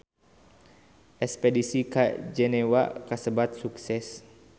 Espedisi ka Jenewa kasebat sukses